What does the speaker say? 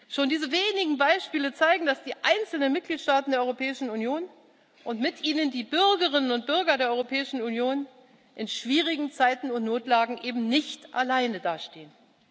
Schon diese wenigen Beispiele zeigen, dass die einzelnen Mitgliedstaaten der Europäischen Union und mit ihnen die Bürgerinnen und Bürger der Europäischen Union in schwierigen Zeiten und Notlagen eben nicht alleine dastehen.